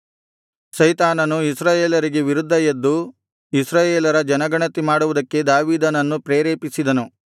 ಸೈತಾನನು ಇಸ್ರಾಯೇಲರಿಗೆ ವಿರುದ್ಧ ಎದ್ದು ಇಸ್ರಾಯೇಲರ ಜನಗಣತಿ ಮಾಡುವುದಕ್ಕೆ ದಾವೀದನನ್ನು ಪ್ರೇರೇಪಿಸಿದನು